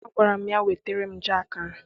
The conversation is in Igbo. Agwara m ya, wetara m jaakị ahụ!